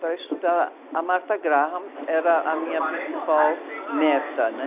para estudar a Martha Graham era a minha principal meta, né?